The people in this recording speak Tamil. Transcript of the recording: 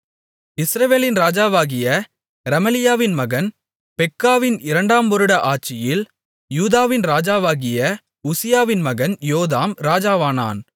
இஸ்ரவேலின் ராஜாவாகிய ரெமலியாவின் மகன் பெக்காவின் இரண்டாம் வருட ஆட்சியில் யூதாவின் ராஜாவாகிய உசியாவின் மகன் யோதாம் ராஜாவானான்